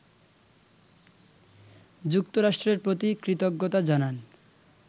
যুক্তরাষ্ট্রের প্রতি কৃতজ্ঞতা জানান